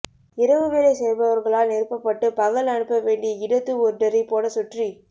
இரவு வேலை செய்பவர்களால் நிரப்பபட்டு பகல் அனுப்பவேண்டிய இடத்து ஒர்டரை போட சுற்றி